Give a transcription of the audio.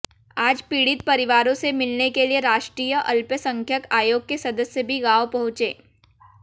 आज पीड़ित परिवारों से मिलने के लिए राष्ट्रीय अल्पसंख्यक आयोग के सदस्य भी गांव पहुंचे